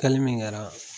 Kɛli min kɛra